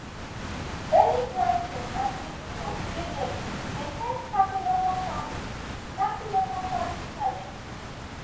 early planting and improved drainage dey help tackle local farming tackle local farming challenges